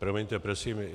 Promiňte prosím.